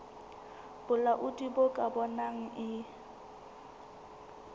bolaodi bo ka bonang e